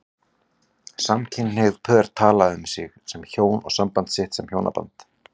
Samkynhneigð pör tala um sig sem hjón og samband sitt sem hjónaband.